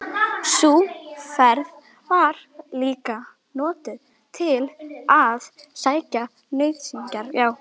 Sú ferð var líka notuð til að sækja nauðsynjar.